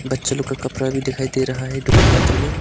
बच्चे लोग का कपड़ा भी दिखाई दे रहा है दुकान का अंदर में।